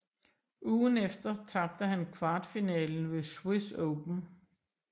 Ugen efter tabte han kvartfinalen ved Swiss Open